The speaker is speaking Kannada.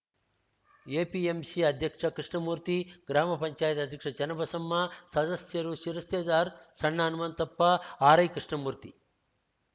ಎಪಿಎಂಸಿ ಅಧ್ಯಕ್ಷ ಕೃಷ್ಣಮೂರ್ತಿ ಗ್ರಾಮ ಪಂಚಾಯಿತಿ ಅಧ್ಯಕ್ಷ ಚನ್ನಬಸಮ್ಮ ಸದಸ್ಯರು ಶಿರಸ್ತೇದಾರ್‌ ಸಣ್ಣ ಹನುಮಂತಪ್ಪ ಆರ್‌ಐ ಕೃಷ್ಣಮೂರ್ತಿ